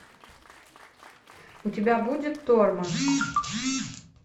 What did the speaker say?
у тебя будет торма